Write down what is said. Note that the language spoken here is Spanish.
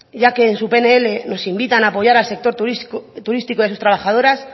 ya que en su pnl nos invitan a apoyar al sector turístico y a sus trabajadoras